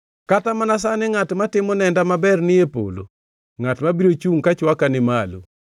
Kata mana sani ngʼat matimo nenda maber ni e polo, ngʼat mabiro chungʼ ka chwaka ni malo.